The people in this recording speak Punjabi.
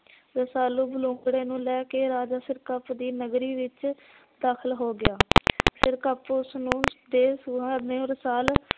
ਰਸਾਲੂ ਬਲੂੰਗੜੇ ਨੂੰ ਲੈ ਕੇ ਰਾਜਾ ਸਿਰਕਪ ਦੀ ਨਗਰੀ ਵਿੱਚ ਦਾਖਲ ਹੋ ਗਿਆ। ਸਿਰਕਪ ਉਸ ਨੂੰ ਦੇ ਰੁਹਾਨੇ ਰਸਾਲ